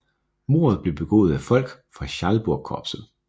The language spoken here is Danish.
Mordet blev begået af folk fra Schalburgkorpset